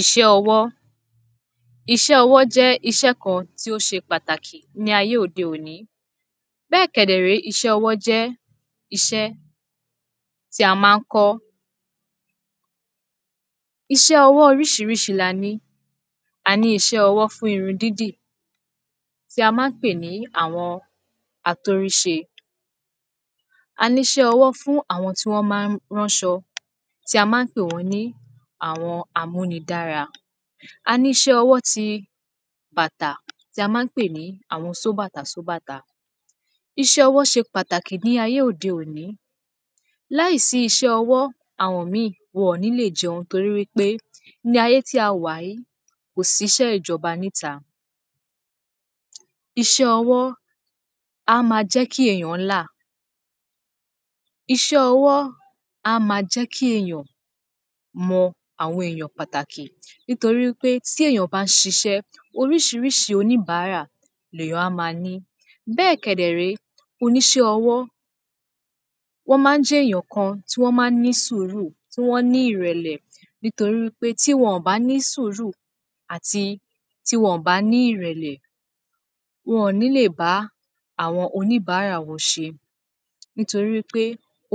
Iṣẹ́ ọwọ́ Iṣẹ́ ọwọ́ jẹ́ iṣẹ́ kan tì ó ṣe pàtàkì ní ayé òde òní Bẹ́ẹ̀ kẹ̀dẹ̀ré iṣẹ́ ọwọ́ jẹ́ iṣẹ́ tí a má ń kọ́ Iṣẹ́ ọwọ́ oríṣiríṣi la ní a ní iṣẹ́ ọwọ́ fún irun dídì tí a má ń pè ní àwọn atóríṣe A ní iṣẹ́ ọwọ́ fún àwọn tí wọ́n ma ń ránṣọ tí a má ń pè wọ́n ní àwọn amúnidára A ní iṣẹ́ ọwọ́ ti bàtà tí a má ń pè ní àwọn sóbàtà-sóbàtà Iṣẹ́ ọwọ́ ṣe pàtàkì ní ayé òde òní láì sí iṣẹ́ ọwọ́ àwọn mí ì wọn ní lè jẹun torí wípé ní ayé tí a wà yìí kò sí iṣẹ́ ìjọba níta Iṣẹ́ ọwọ́ á máa jẹ́ kí èyàn láà Iṣẹ́ ọwọ́ á máa jẹ́ kí èyàn mọ àwọn èyàn pàtàkì nítorí wípé tí èyàn bá ṣiṣẹ́ oríṣiríṣi oníbàárà lè èyàn á ma ní Bẹ́ẹ̀ kẹ̀dẹ̀ré oníṣẹ́ ọwọ́ wọ́n má ń jẹ́ èyàn kan tí wọ́n má ń ní sùúrù tí wọ́n ní ìrẹ̀lẹ̀ nítorí wípé tí wọ́n bà ní sùúrù àti tí wọ́n bà ní ìrẹ̀lẹ̀ wọn ní lè bá á àwọn oníbàárà wọn ṣe Nítorí pé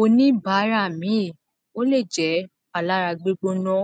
oníbàárà mí ì ó lè jẹ́ alára gbígbóná